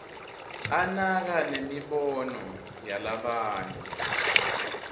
anaka nemibono yalabanye